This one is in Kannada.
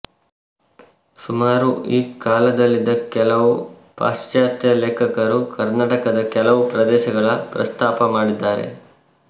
ಸುಮಾರು ಈ ಕಾಲದಲ್ಲಿದ್ದ ಕೆಲವು ಪಾಶ್ಚಾತ್ಯ ಲೇಖಕರು ಕರ್ನಾಟಕದ ಕೆಲವು ಪ್ರದೇಶಗಳ ಪ್ರಸ್ತಾಪ ಮಾಡಿದ್ದಾರೆ